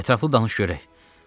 Ətraflı danış görək.